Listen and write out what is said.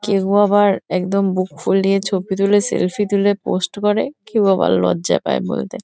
কেউ আবার একদম বুক ফুলিয়ে ছবি তুলে সেলফি তুলে পোস্ট করে কেউ আবার লজ্জা পায় বলতে।